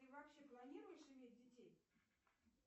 ты вообще планируешь иметь детей